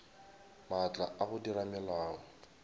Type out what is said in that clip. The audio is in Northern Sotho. maatla a go dira melao